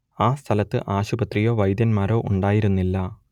ആ സ്ഥലത്ത് ആശുപത്രിയോ വൈദ്യന്മാരോ ഉണ്ടായിരുന്നില്ല